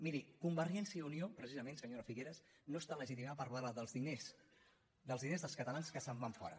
miri convergència i unió precisament senyora figueras no està legitimada per parlar dels diners dels catalans que se’n van fora